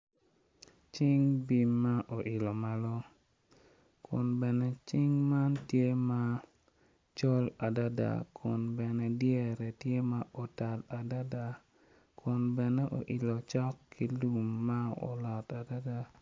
Cing bim ma oilo malo kun bene cing man tye ma col adada kun bene dyere tye ma otal adada kun bene oilo cok ki lum ma olot adada.